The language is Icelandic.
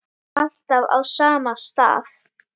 Alltaf á sama stað.